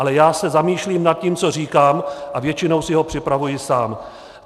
Ale já se zamýšlím nad tím, co říkám, a většinou si ho připravuji sám.